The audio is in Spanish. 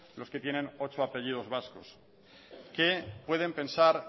los que tienen ocho apellidos vascos qué pueden pensar